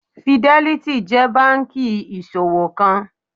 Fidelity jẹ́ banki ìṣowó kan.